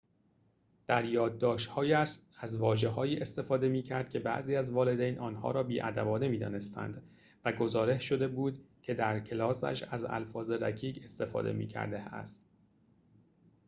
در یادداشت‌هایش از واژه‌هایی استفاده می‌کرد که بعضی از والدین آنها را بی‌ادبانه می‌دانستند و گزارش شده بود که در کلاسش از الفاظ رکیک استفاده می‌کرده است